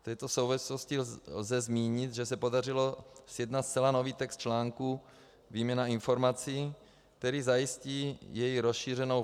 V této souvislosti lze zmínit, že se podařilo sjednat zcela nový text článku Výměna informací, který zajistí její rozšířenou